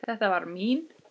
Þetta var mín.